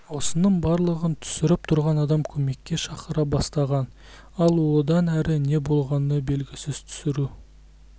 осының барлығын түсіріп тұрған адам көмекке шақыра бастаған ал одан әрі не болғаны белгісіз түсіру